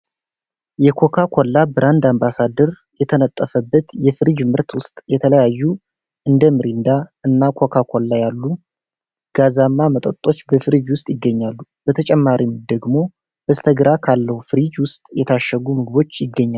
የኮካ ኮላ ብራንድ አባሳደር የተነጠፈበት የፍሪጅ ምርት ውስጥ የተለያዩ እንደ ሚሪንዳ እና ኮካ ኮላ ያሉ። ጋዛማ መጠጦች በፍሪጅ ውስጥ ይገኛሉ። በተጨማሪም ደግሞ በስተግራ ካለው ፍሪጅ ውስጥ የታሸጉ ምግቦች ይገኛሉ።